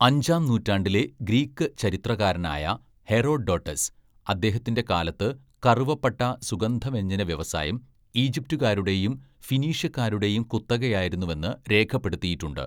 അഞ്ചാം നൂറ്റാണ്ടിലെ ഗ്രീക്ക് ചരിത്രകാരനായ ഹെറോഡോട്ടസ് അദ്ദേഹത്തിന്റെ കാലത്ത് കറുവപ്പട്ട സുഗന്ധവ്യഞ്ജന വ്യവസായം ഈജിപ്തുകാരുടെയും ഫിനീഷ്യക്കാരുടെയും കുത്തകയായിരുന്നുവെന്ന് രേഖപ്പെടുത്തിയിട്ടുണ്ട്.